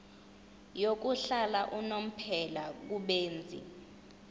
yokuhlala unomphela kubenzi